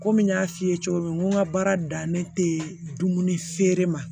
Komi n y'a f'i ye cogo min n ka baara dan ne tɛ dumuni feere ma